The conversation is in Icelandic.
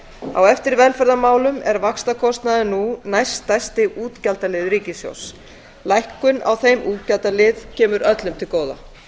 á eftir velferðarmálum er vaxtakostnaður nú næststærsti útgjaldaliður ríkissjóðs lækkun á þeim útgjaldalið kemur öllum til góða